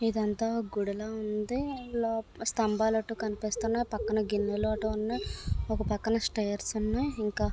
ఇదంతా గుడి లా ఉంది అందులో స్తంభాలు అట్ట కనిపిస్తున్నాయి. పక్కన ఉన్నాయి. ఒక పక్కన స్టేర్స్ ఉన్నాయి ఇంకా --